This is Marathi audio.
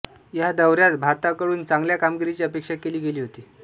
ह्या दौऱ्यात भारताकडून चांगल्या कामगिरीची अपेक्षा केली गेली होती